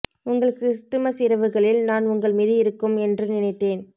உங்கள் கிறிஸ்துமஸ் இரவுகளில் நான் உங்கள் மீது இருக்கும் என்று நினைத்தேன்